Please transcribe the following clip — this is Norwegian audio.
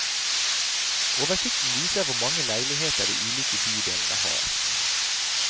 Oversikten viser hvor mange leiligheter de ulike bydelene har.